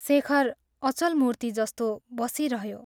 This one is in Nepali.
शेखर अचल मूर्ति जस्तो बसिरह्यो।